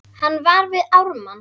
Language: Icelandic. Hann var við Ármann.